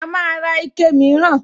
A máa ra ike mìíràn